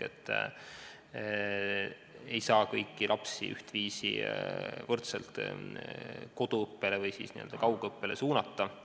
Me ei saa kõiki lapsi ühtviisi kaugõppele suunata.